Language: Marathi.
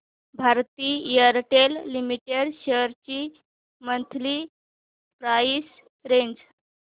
भारती एअरटेल लिमिटेड शेअर्स ची मंथली प्राइस रेंज